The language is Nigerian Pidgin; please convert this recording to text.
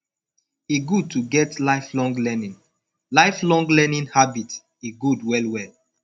e good to get lifelong learning lifelong learning habit e good well well